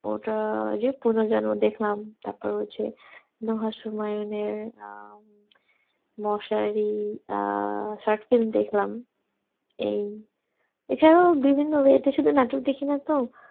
ওটা আর যে পুনর্জনন দেখলাম তারপর হচ্ছে রহস্যময় মশারি short-film দেখলাম এই আর এছাড়া বিভিন্ন web এ নাটক দেখি নাতো